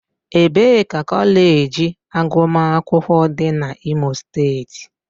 Ebee ka kọleji agụmakwụkwọ dị na owerri?